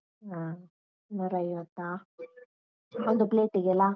ಹಾ, ನೂರ ಐವತ್ತ? ಒಂದು plate ಗಲ್ಲ?